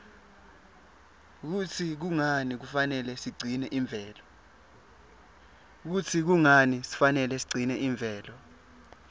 kutsi kungani kufanele sigcine imvelo